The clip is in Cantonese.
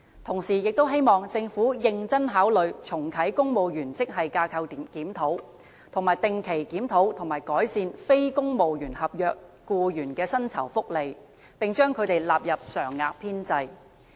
同時，也希望政府認真考慮重啟公務員職系架構檢討、定期檢討和改善非公務員合約僱員的薪酬福利，並將他們納入常額編制。